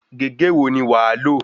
Gègé wo ni wàá lò?